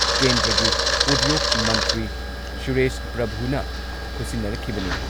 ꯀꯦꯟꯗ꯭ꯔꯒꯤ ꯎꯗ꯭ꯌꯣꯛ ꯃꯟꯇ꯭ꯔꯤ ꯁꯨꯔꯦꯁ ꯄ꯭ꯔꯚꯨꯅ ꯈꯨꯠꯁꯤꯟꯅꯔꯛꯈꯤꯕꯅꯤ꯫